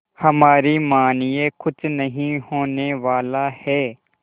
हमारी मानिए कुछ नहीं होने वाला है